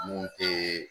Mun tɛ